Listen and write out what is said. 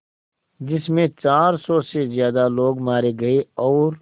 जिस में चार सौ से ज़्यादा लोग मारे गए और